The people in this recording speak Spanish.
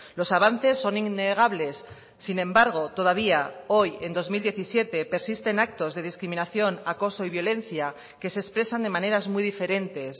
los avances son innegables sin embargo todavía hoy en dos mil diecisiete persisten actos de discriminación acoso y violencia que se expresan de maneras muy diferentes